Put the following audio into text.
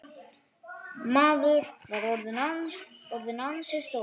Maður var orðinn ansi stór.